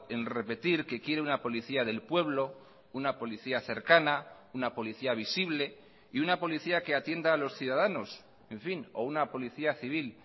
en repetir que quiere una policía del pueblo una policía cercana una policía visible y una policía que atienda a los ciudadanos en fin o una policía civil